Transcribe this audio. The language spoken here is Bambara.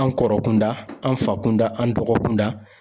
An kɔrɔ kunda an fa kun da an dɔgɔkun da